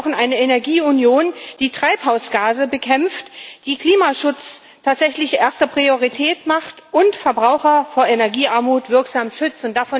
Wir brauchen eine Energieunion, die Treibhausgase bekämpft, die Klimaschutz tatsächlich zur ersten Priorität macht und Verbraucher vor Energiearmut wirksam schützt.